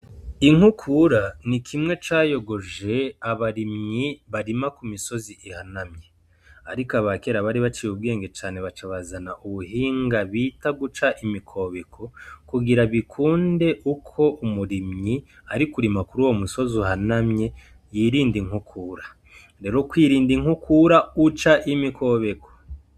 Inkukura ni kimwe cayogoje abarimyi barima ku misozi ihanamye. Ariko aba kera bari baciye ubwenge cane baca bazana ubuhinga bita" Guca imikobeko" kugira bikunde uko umurimyi ari kurima kuri uwo musozi uhanamye yirinda inkukura. Rero kwirinda inkukura uca imikobeko.